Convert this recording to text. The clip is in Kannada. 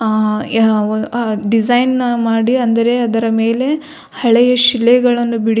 ಆ ಡಿಸೈನ್ ನ ಮಾಡಿ ಅಂದರೆ ಅದರ ಮೆಲೆ ಹಳೆಯ ಶಿಲೆಗಳನ್ನು ಬಿಡಿಸಿ.